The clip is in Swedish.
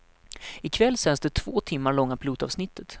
I kväll sänds det två timmar långa pilotavsnittet.